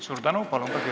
Suur tänu!